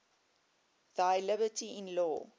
thy liberty in law